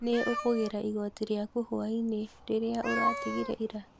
Nĩ ũkũgĩra igoti rĩaku hwai-inĩ rĩrĩa ũratigire ira?